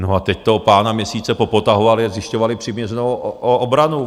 No a teď toho pána měsíce popotahovali a zjišťovali přiměřenou obranu.